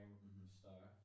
Mhm